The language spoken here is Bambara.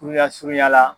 Kuruya surunya la